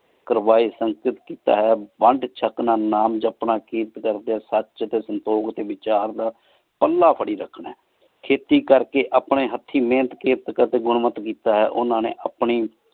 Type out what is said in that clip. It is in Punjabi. ਕਰਵਾਯ ਸਨ ਹਾਜਿਸ ਕੀਤਾ ਹੈ ਵੰਡ ਚਖ ਨਾਲ ਨਾਮ ਜਪਣਾ ਵਿਰਦ ਕ੍ਰ੍ਦ੍ਯਾਸਚ ਟੀ ਸੰਤੋਗ ਡੀ ਵਿਚਾਰ ਦਾ ਪੱਲਾ ਫ਼ਰੀ ਫ਼ਰੀ ਰਖਣ ਆਯ ਖੇਤੀ ਕਰ ਕੀ ਅਪਨੀ ਹਾਥੀ ਮੇਹਨਤ ਗੁਨ੍ਮਤ ਕੀਤਾ ਹੈ ਓਹਨਾ ਨੀ ਆਪਣੀ